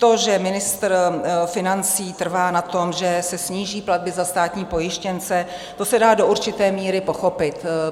To, že ministr financí trvá na tom, že se sníží platby za státní pojištěnce, to se dá do určité míry pochopit.